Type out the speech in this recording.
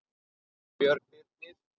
Björn Birnir.